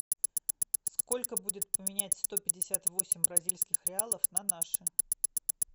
сколько будет поменять сто пятьдесят восемь бразильских реалов на наши